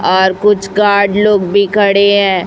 और कुछ गार्ड लोग भी खड़े है।